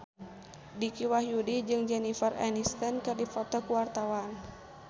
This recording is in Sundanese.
Dicky Wahyudi jeung Jennifer Aniston keur dipoto ku wartawan